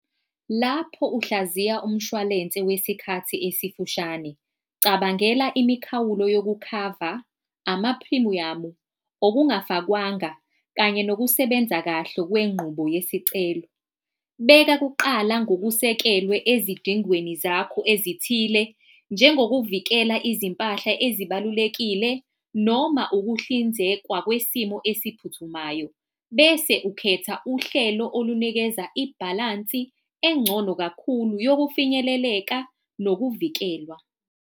Lapho uhlaziya umshwalense wesikhathi esifushane cabangela imikhawulo yokukhava, amaphrimiyamu, okungafakwanga, kanye nokusebenza kahle kwengqubo yesicelo. Beka kuqala ngokusekelwe ezidingweni zakho ezithile njengezokuvikela izimpahla ezibalulekile, noma ukuhlinzekwa kwesimo esiphuthumayo. Bese ukhetha uhlelo olunikeza ibhalansi engcono kakhulu yokufinyeleleka nokuvikelwa.